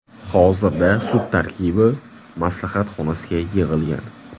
Hozirda sud tarkibi maslahat xonasiga yig‘ilgan.